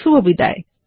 শুভবিদায়